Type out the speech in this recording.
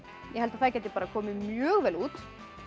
ég held að það geti komið mjög vel út